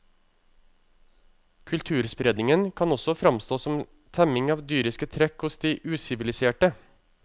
Kulturspredningen kan også fremstå som temming av dyriske trekk hos de usiviliserte.